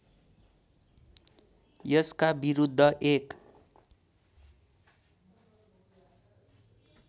यसका विरुद्ध एक